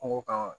Kungo kan